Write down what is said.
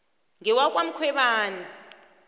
ngewakwamkhwebani